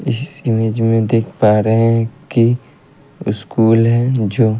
इस इमेज मे देख पा रहे है कि स्कूल है जो--